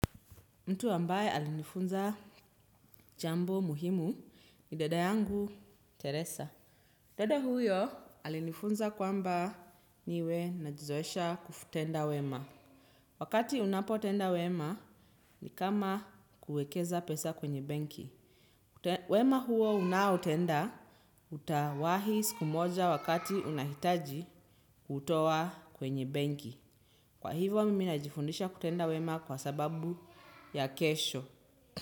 Mtu ambaye alinifunza jambo muhimu ni dada yangu Teresa. Dada huyo alinifunza kwamba niwe najizoesha kutenda wema. Wakati unapo utenda wema ni kama kuekeza pesa kwenye benki. Wema huo unao utenda utawahi siku moja wakati unahitaji kutowa kwenye benki. Kwa hivyo mimi najifundisha kutenda wema kwa sababu ya kesho.